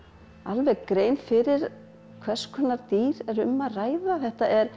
alveg grein fyrir hvers konar dýr er um að ræða þetta